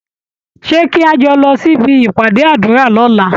Ṣé kí a jọ lọ sí ibi ìpàdé àdúrà lọ́la?